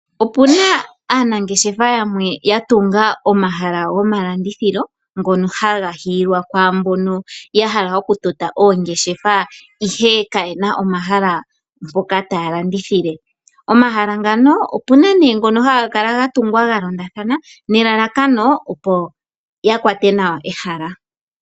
Aanangeshefa yamwe oyatunga omahala gomalandithilo ngono haga hiilwa kumboka yahala okutota oongeshefa ihe kayena omahala mpoka taya landithile. Omahala ngaka opuna gamwe haga kala gatungwa galondathana nelalakano opo yakwate nawa ehala.